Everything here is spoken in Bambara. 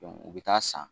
u bɛ taa san